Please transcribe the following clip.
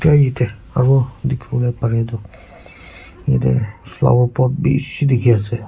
Aro yatheh aro dekhivole parye tuh yatheh flower pot beshi dekhey ase.